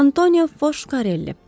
Antonio Foskarelli.